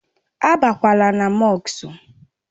Á bakwala na mọsk!